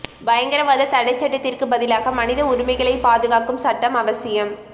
பயங்கரவாத தடைச் சட்டத்திற்குப் பதிலாக மனித உரிமைகளைப் பாதுகாக்கும் சட்டம் அவசியம்